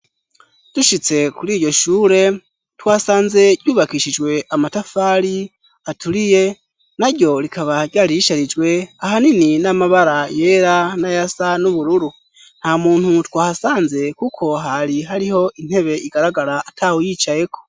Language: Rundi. Dushitse kuri iryo shure, twasanze yubakishijwe amatafari, aturiye ,naryo rikaba ryari risharijwe ahanini n'amabara yera, nayasa n'ubururu, nta muntu twahasanze kuko hari hariho intebe igaragara atahuyicayeko.